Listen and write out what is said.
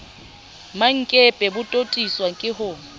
mmankepe bo totiswa ke ho